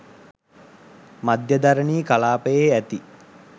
මධ්‍යධරණී කලාපයේ ඇති